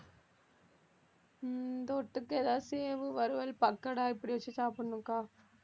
தொட்டுக்க ஏதாவது சேவு, வறுவல், பக்கோடா இப்படி வச்சு சாப்பிடணும்க்கா